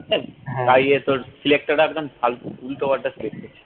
ইয়ে তোর selector টা একদম ফালতু উল্টো পাল্টা select করছে